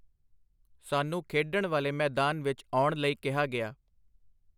ਸਾਨੂੰ ਖੇਡਣ ਵਾਲੇ ਮੈਦਾਨ ਵਿੱਚ ਆਉਣ ਲਈ ਕਿਹਾ ਗਿਆ.